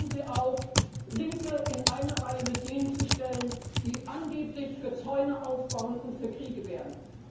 Bitte hören Sie auf, Linke in eine Reihe mit jenen zu stellen, die angeblich für den Aufbau von Zäunen und für Kriege